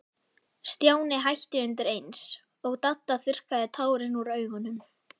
Stjáni hætti undir eins, og Dadda þurrkaði tárin úr augunum.